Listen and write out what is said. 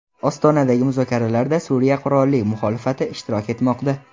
Ostonadagi muzokaralarda Suriya qurolli muxolifati ishtirok etmoqda.